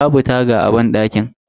Babu taga a banɗakin.